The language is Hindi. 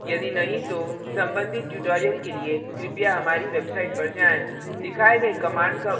यदि नहीं तो संबंधित tutorials के लिए कृपया हमारी website पर जाएँ